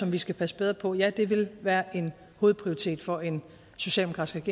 vi skal passe bedre på ja det ville være en hovedprioritet for en socialdemokratisk